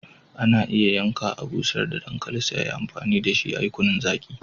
Ana iya yanka, a'busher da dankali sai a yi amfani da shi a'yi kunun zaki.